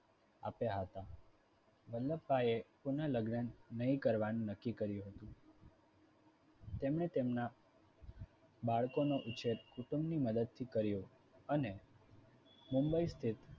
આપ્યા હતા વલ્લભભાઈએ પુનઃલગ્ન નહીં કરવાનું નક્કી કર્યું હતું. તેમણે તેમના બાળકોનો ઉછેર કુટુંબની મદદ થી કર્યો. અને મુંબઈ સ્થિત